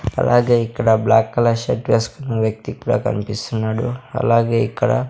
అలాగే ఇక్కడ black colour shirt వేసుకున్న వ్యక్తి కూడా కన్పిస్తున్నాడు అలాగే ఇక్కడ--